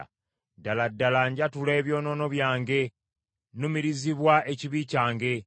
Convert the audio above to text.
Ddala ddala njatula ebyonoono byange; nnumirizibwa ekibi kyange.